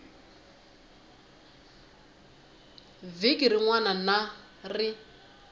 vhiki rin wana na rin